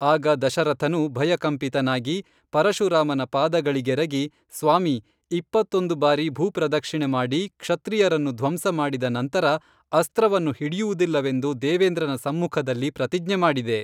ಆಗ ದಶರಥನು ಭಯಕಂಪಿತನಾಗಿ ಪರಶುರಾಮನ ಪಾದಗಳಿಗೆರಗಿ ಸ್ವಾಮೀ ಇಪ್ಪತ್ತೊಂದು ಬಾರಿ ಭೂಪ್ರದಕ್ಷಿಣೆ ಮಾಡಿ ಕ್ಷತ್ರಿಯರನ್ನು ಧ್ವಂಸ ಮಾಡಿದ ನಂತರ ಅಸ್ತ್ರವನ್ನು ಹಿಡಿಯುವುದಿಲ್ಲವೆಂದು ದೇವೇಂದ್ರನ ಸಮ್ಮುಖದಲ್ಲಿ ಪ್ರತಿಜ್ಞೆ ಮಾಡಿದೆ